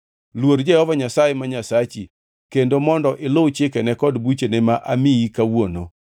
Luor Jehova Nyasaye ma Nyasachi kendo mondo iluw chikene kod buchene ma amiyi kawuono.”